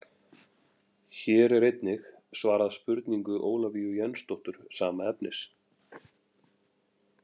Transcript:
hér er einnig svarað spurningu ólafíu jensdóttur sama efnis